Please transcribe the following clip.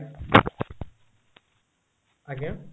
ଆଜ୍ଞା